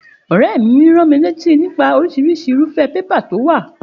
Òréè mi ránmilátí nípa orísirísi irúfé paper to wò